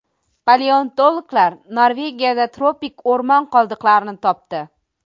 Paleontologlar Norvegiyada tropik o‘rmon qoldiqlarini topdi.